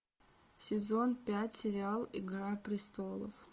сезон пять сериал игра престолов